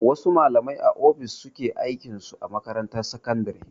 Wasu malamai a ofis suke aikin su a makarantar sakandare.